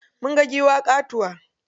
Mun ga giwa ƙatuwa.